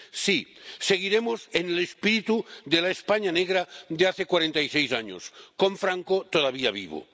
Sí, seguiremos en el espíritu de la España negra de hace cuarenta y seis años, con Franco todavía vivo.